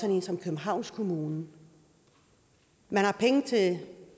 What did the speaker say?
en som københavns kommune man har penge til